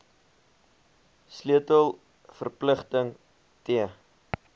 sleutel verpligting t